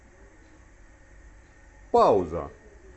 пауза